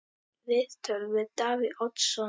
Viðtöl við Davíð Oddsson